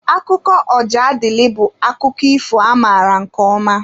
Akụkọ Ojadịlị bụ akụkọ ifo amaara nke ọma.